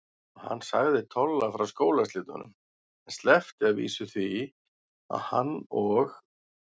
Og hann sagði Tolla frá skólaslitunum, en sleppti að vísu því að hann og